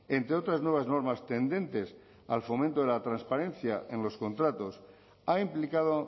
entre otras nuevas normas tendentes al fomento de la transparencia en los contratos ha implicado